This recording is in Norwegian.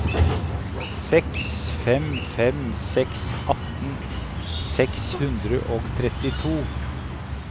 seks fem fem seks atten seks hundre og trettito